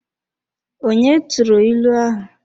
Onye turu ilu ahu?